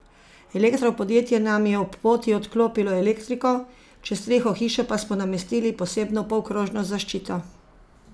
Elektro podjetje nam je ob poti odklopilo elektriko, čez streho hiše pa smo namestili posebno polkrožno zaščito.